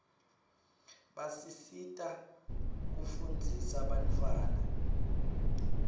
basisita kufunzisa bantfwana